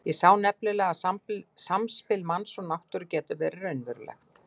Ég sá nefnilega að samspil manns og náttúru getur verið raunverulegt.